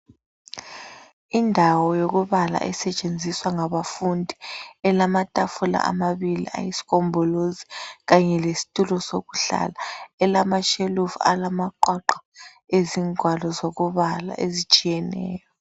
Indawo yokubala esetshenziswa ngabafundi elamatafula amabili ayisigombolozi kanye lesitulo sokuhlala, elamashelufu alamaqwaqwa ,izingwalo zokubala ezitshiyeneyo.